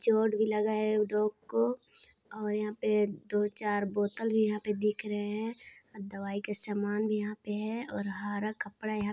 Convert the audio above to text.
चोट भी लगा है डॉग को और यहाँ पे दो चार बोतल भी यहाँ दिख रहे है और दवाई का सामान भी यहाँ पे है और हारा कपड़ा यहाँ--